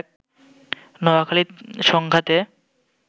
নোয়াখালীতে সংঘাতে